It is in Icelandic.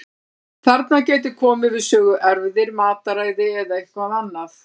Þarna gætu komið við sögu erfðir, mataræði eða eitthvað annað.